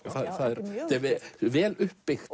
og vel upp byggt